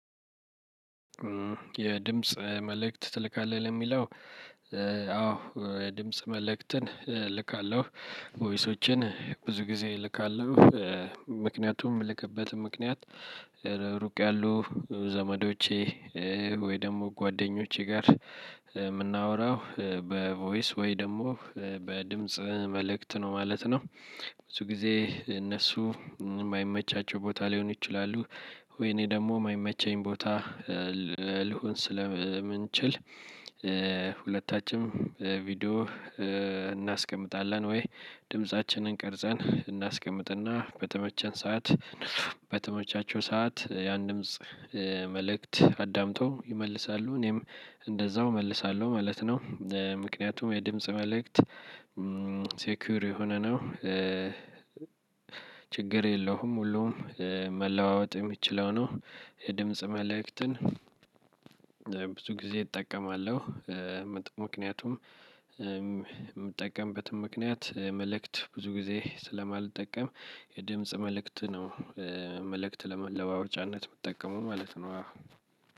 የድምጽ መልእክት ትልካለህ ለሚለው? አዎ የድምጽ መልእክትን እልካለሁ ቮይሶችን ብዙ ጊዜ እልካለሁ። ምክንያቱም የምልከበት ምክንያት። ሩቅ ያሉ ዘመዶቼ ወይ ደግሞ ጓደኞቼ ጋር የምናወራው በቮይስ ወይ ደግሞ በድምጽ መልእክት ነው ማለት ነው። ብዙ ጊዜ እነሱ የማይመቻቸው ቦታ ሊሆኑ ይችላሉ። ወይ እኔ ደግሞ የማይመቸኝ ቦታ ልሁን ስለምንችል። ሁለታችንም ቪዲዮ እናስቀምጣለን ወይ ድምፃችንን ቀርፀን እናስቀምጥና በተመቸን ሰዓት በተመቻቸው ሰዓት የአንድም መልእክት አዳምጠው ይመልሳሉ እኔም እንደዛው እመልሳለሁ ማለት ነው። ምክንያቱም የድምጽ መልእክት ሴኪዩር የሆነ ነው። ችግር የለሁም ሁሉም መለዋወጥ የሚችለው ነው። የድምጽ መልእክትን ብዙ ጊዜ እጠቀማለሁ። ምክንያቱም የምጠቀምበትም ምክንያት መልእክት ብዙ ጊዜ ስለማልጠቀም የድምጽ መልእክት ነው። መልእክት ለመለዋወጫነት ምጠቀመው ማለት ነው።